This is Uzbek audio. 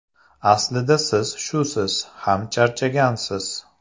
Aslida siz shusiz ham charchagansiz!